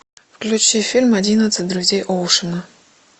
включи фильм одиннадцать друзей оушена